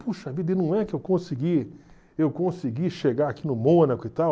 Puxa vida, e não é que eu consegui eu consegui chegar aqui no Mônaco e tal?